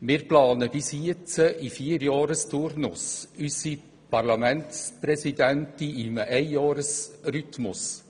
Wir planen bis jetzt in Vierjahreszyklen und unsere Parlamentspräsidenten im Einjahresrhythmus.